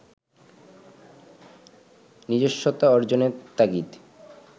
নিজস্বতা অর্জনের তাগিদ